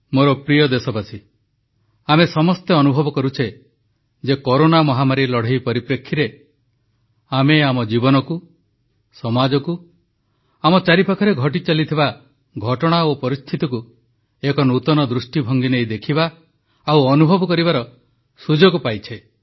ମୋର ପ୍ରିୟ ଦେଶବାସୀଗଣ ଆମେ ସମସ୍ତେ ଅନୁଭବ କରୁଛେ ଯେ କରୋନା ମହାମାରୀ ଲଢ଼େଇ ପରିପ୍ରେକ୍ଷୀରେ ଆମେ ଆମ ଜୀବନକୁ ସମାଜକୁ ଆମ ଚାରିପାଖରେ ଘଟିଚାଲିଥିବା ଘଟଣା ଓ ପରିସ୍ଥିତିକୁ ଏକ ନୂତନ ଦୃଷ୍ଟିଭଙ୍ଗୀ ନେଇ ଦେଖିବା ଓ ଅନୁଭବ କରିବାର ସୁଯୋଗ ପାଇଛେ